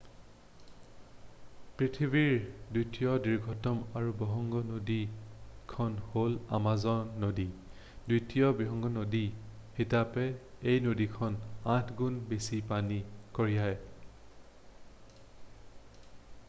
পৃথিৱীৰ দ্বিতীয় দীৰ্ঘতম আৰু বহৎ নদীখন হ'ল আমাজান নদী দ্বিতীয় বৃহৎ নদী হিচাপে এই নদীখনে 8 গুণ বেছি পানী কঢ়িয়ায়